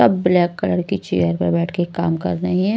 सब black colour की chair पर बैठ के काम कर रहे हैं।